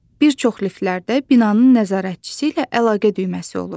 Bir çox liftlərdə binanın nəzarətçisi ilə əlaqə düyməsi olur.